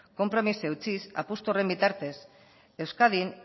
konpromisoari eutsiz apustu horren bitartez euskadin